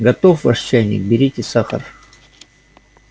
готов ваш чайник берите сахар